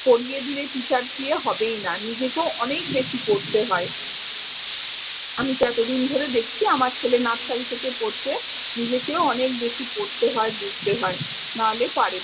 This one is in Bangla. পড়িয়ে দিলে teacher দিয়ে হবেই না। নিজেকেও অনেক বেশি পড়তে হয়। আমি তো এত দিন ধরে দেখছি আমার ছেলে nursery থেকে পড়ছে। নিজেকেও অনেক বেশি পড়তে হয় বুঝতে হয়। না হলে পারে